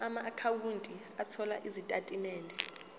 amaakhawunti othola izitatimende